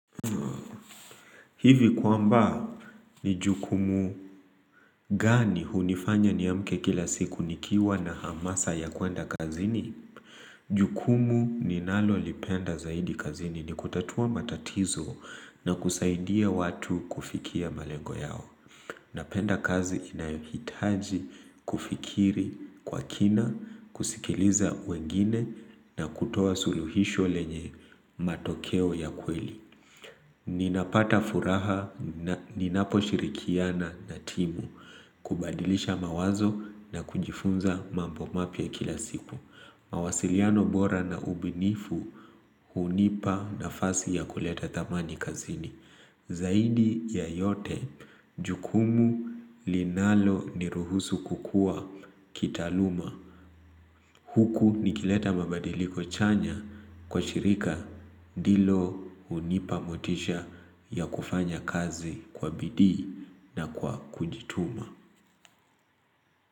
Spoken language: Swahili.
Hivi kwamba ni jukumu gani hunifanya niamke kila siku nikiwa na hamasa ya kwenda kazini? Jukumu ninalolipenda zaidi kazini ni kutatua matatizo na kusaidia watu kufikia malengo yao. Napenda kazi inayohitaji kufikiri kwa kina, kusikiliza wengine na kutoa suluhisho lenye matokeo ya kweli. Ninapata furaha ninaposhirikiana na timu kubadilisha mawazo na kujifunza mambo mapya kila siku. Mawasiliano bora na ubinifu hunipa nafasi ya kuleta thamani kazini. Zaidi ya yote, jukumu linaloniruhusu kukua kitaaluma. Huku nikileta mabadiliko chanya kwa shirika ndilo hunipa motisha ya kufanya kazi kwa bidii na kwa kujituma.